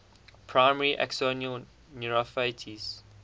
primary axonal neuropathies